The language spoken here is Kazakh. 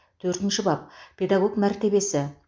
төртінші бап педагог мәртебесі